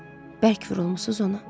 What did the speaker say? Bərk vurulmusuz ona.